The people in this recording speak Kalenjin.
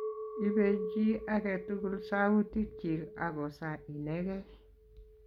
ipey chi age tugul sautik chik ako sa inegei